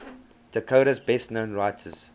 dakota's best known writers